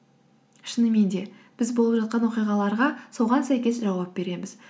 шынымен де біз болып жатқан оқиғаларға соған сәйкес жауап береміз